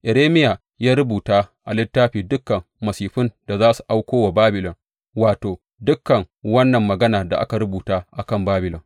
Irmiya ya rubuta a littafi dukan masifun da za su auko wa Babilon, wato, dukan wannan magana da aka rubuta a kan Babilon.